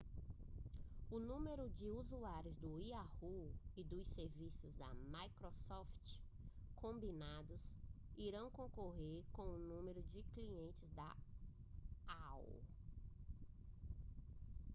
o número de usuários do yahoo e dos serviços da microsoft combinados irão concorrer com o número de clientes da aol